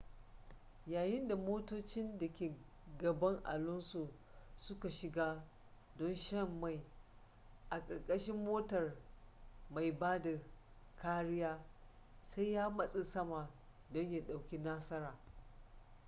yayin da motocin da ke gaban alonso suka shiga don shan mai a ƙarƙashin motar mai ba da kariya sai ya matsa sama don ya ɗauki nasara